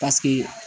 Paseke